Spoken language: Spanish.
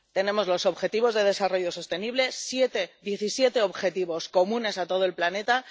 Tenemos los objetivos de desarrollo sostenible, diecisiete objetivos comunes a todo el planeta.